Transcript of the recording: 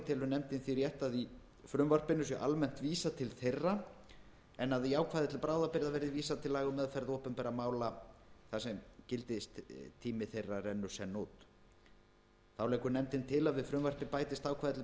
telur nefndin því rétt að í frumvarpinu sé almennt vísað til þeirra en að í ákvæði til bráðabirgða verði vísað til laga um meðferð opinberra mála þar sem gildistími þeirra rennur senn út þá leggur nefndin til að við frumvarpið bætist ákvæði til